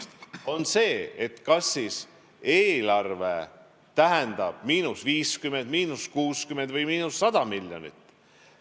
See on see, et kas see siis eelarvele tähendab –50, –60 või –100 miljonit.